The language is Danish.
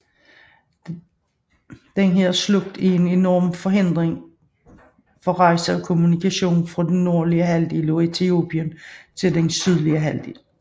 Denne slugt er en enorm hindring for rejse og kommunikation fra det nordlige halvdel af Etiopien til den sydlige halvdel